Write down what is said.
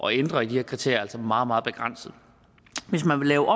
ændre de her kriterier altså meget meget begrænset hvis man vil lave